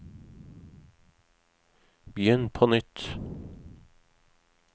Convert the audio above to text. begynn på nytt